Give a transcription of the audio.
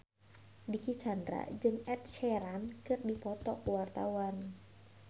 Dicky Chandra jeung Ed Sheeran keur dipoto ku wartawan